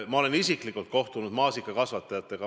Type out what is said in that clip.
Ma olen isiklikult kohtunud maasikakasvatajatega.